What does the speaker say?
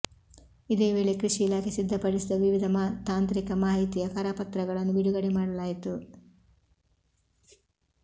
ಇದೇ ವೇಳೆ ಕೃಷಿ ಇಲಾಖೆ ಸಿದ್ಧಪಡಿಸಿದ ವಿವಿಧ ತಾಂತ್ರಿಕ ಮಾಹಿತಿಯ ಕರ ಪತ್ರಗಳನ್ನು ಬಿಡುಗಡೆ ಮಾಡಲಾಯಿತು